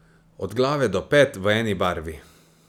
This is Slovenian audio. Od glave do pet v eni barvi.